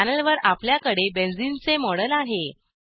पॅनेलवर आपल्याकडे बेन्झीन चे मॉडेल आहे